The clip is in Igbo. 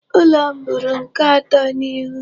Ụlọ m bụrụ nke atọ ịhụ.